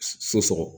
So sɔgɔ